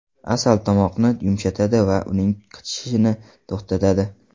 Asal tomoqni yumshatadi va uning qichishishini to‘xtatadi.